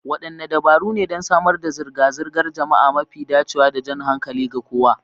Wadanne dabaru ne don samar da zirga-zirgar jama'a mafi dacewa da jan hankali ga kowa?